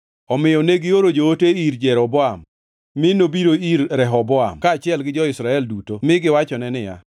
Omiyo negioro joote ir Jeroboam, mi nobiro ir Rehoboam kaachiel gi jo-Israel duto mi giwachone niya,